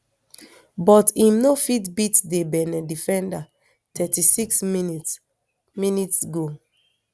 but im no fit beat di benin defender thirty-six mins mins goal